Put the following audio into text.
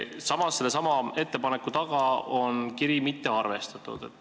Samas on sellesama ettepaneku juures kirjas, et mitte arvestada.